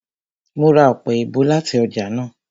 Mo ra ọpẹ-èèbó láti ọjà náà